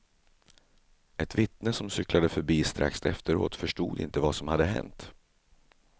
Ett vittne som cyklade förbi strax efteråt förstod inte vad som hade hänt.